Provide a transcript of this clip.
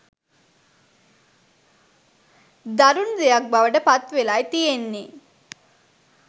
දරැණු දෙයක් බවට පත්වෙලයි තියෙන්නෙ.